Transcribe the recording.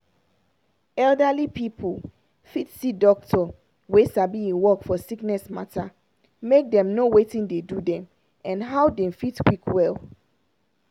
elderly pipu fit see doctor wey sabi e work for sickness matter make dem know watin dey do dem and how dem fit quick well.